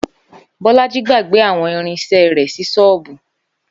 Bó̩lájí gbàgbé àwo̩n irin is̩é̩ rè̩ sí s̩óò̩bù